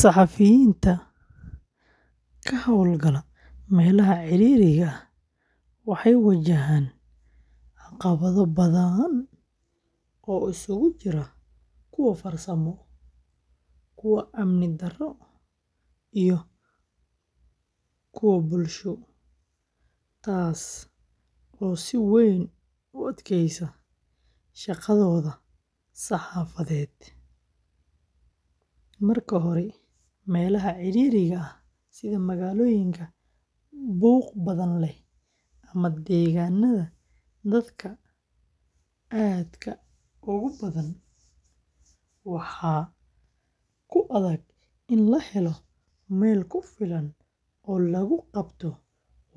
Saxafiyiinta ka hawlgala meelaha ciriiriga ah waxay wajahaan caqabado badan oo isugu jira kuwo farsamo, amni, iyo bulsho, taasoo si weyn u adkeysa shaqadooda saxaafadeed. Marka hore, meelaha ciriiriga ah sida magaalooyinka buuq badan leh ama deegaanada dadka aadka u badan, waxaa ku adag in la helo meel ku filan oo lagu qabto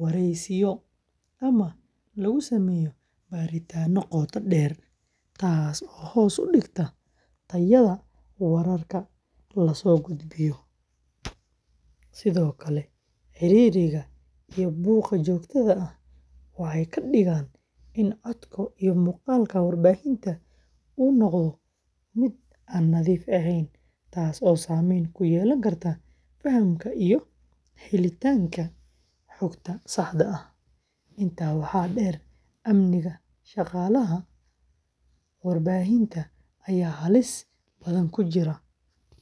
wareysiyo ama lagu sameeyo baaritaanno qoto dheer, taasoo hoos u dhigta tayada wararka la soo gudbiyo. Sidoo kale, ciriiriga iyo buuqa joogtada ah waxay ka dhigaan in codka iyo muuqaalka warbaahinta uu noqdo mid aan nadiif ahayn, taasoo saameyn ku yeelan karta fahamka iyo helitaanka xogta saxda ah. Intaa waxaa dheer, amniga shaqaalaha warbaahinta ayaa halis badan ku jira.